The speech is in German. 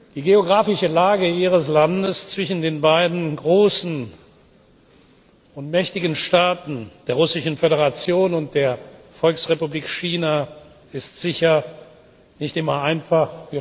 Die geografische Lage Ihres Landes zwischen den beiden großen und mächtigen Staaten der Russischen Föderation und der Volksrepublik China ist sicher nicht immer einfach